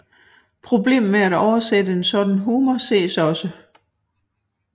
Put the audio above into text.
Problemet med at oversætte en sådan humor ses også